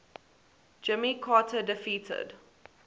jimmy carter defeated